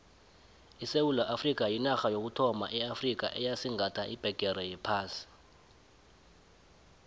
isewula afrikha yinarha yokuthoma eafrikha eyasigatha ibhegere yephasi